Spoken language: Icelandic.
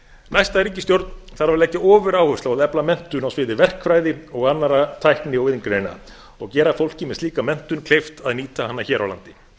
næsta ríkisstjórn þarf að leggja ofuráherslu á að efla menntun á sviði verkfræði og annarra tækni og iðngreina og gera fólki með slíka menntun kleift að nýta hana hér á landi